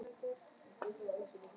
Kannski er ég minna en ekki neitt.